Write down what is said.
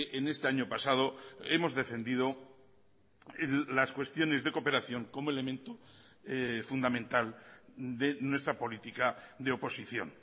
en este año pasado hemos defendido las cuestiones de cooperación como elemento fundamental de nuestra política de oposición